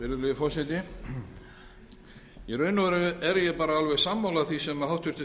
virðulegi forseti í raun og veru er ég alveg sammála því sem háttvirtur